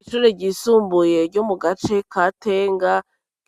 Ishure ryisumbuye ryo mu gace ka Tenga,